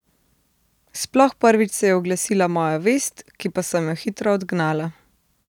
Sploh prvič se je oglasila moja vest, ki pa sem jo hitro odgnala.